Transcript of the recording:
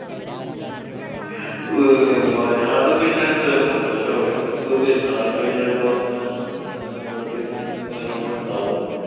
വേ~ വയനാട് പിന്നെ സ്ഥലും ഉണ്ട്. പക്ഷെ അവടൊക്കെ ഇനി പ്പൊ പെരുന്നളൊക്കെ ആയിട്ട് ചെലപ്പൊ എന്താ പറയാ already booking കാര്യങ്ങളും ഉണ്ടാവും.